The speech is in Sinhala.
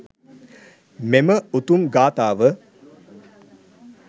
මෙම උතුම් ගාථාව